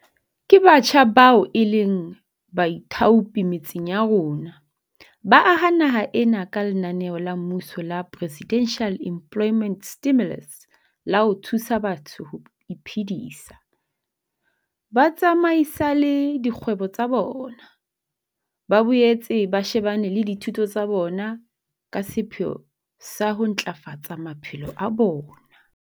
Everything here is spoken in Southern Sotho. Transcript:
Ke batjha bao e leng baithaopi metseng ya rona, ba aha naha ena ka lenaneo la mmuso la Presidential Employment Stimulus la ho thusa batho ho iphedisa, ba tsamaisale dikgwebo tsa bona, ba boetse ba shebane le dithuto tsa bona ka sepheo sa ho ntlafafatsa maphelo a bona.